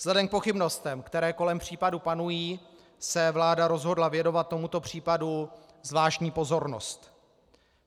Vzhledem k pochybnostem, které kolem případu panují, se vláda rozhodla věnovat tomuto případu zvláštní pozornost.